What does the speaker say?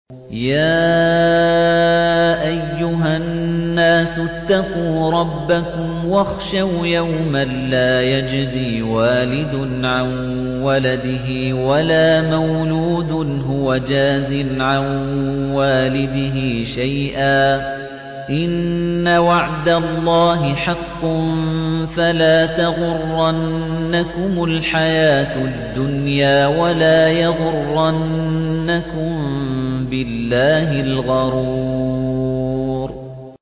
يَا أَيُّهَا النَّاسُ اتَّقُوا رَبَّكُمْ وَاخْشَوْا يَوْمًا لَّا يَجْزِي وَالِدٌ عَن وَلَدِهِ وَلَا مَوْلُودٌ هُوَ جَازٍ عَن وَالِدِهِ شَيْئًا ۚ إِنَّ وَعْدَ اللَّهِ حَقٌّ ۖ فَلَا تَغُرَّنَّكُمُ الْحَيَاةُ الدُّنْيَا وَلَا يَغُرَّنَّكُم بِاللَّهِ الْغَرُورُ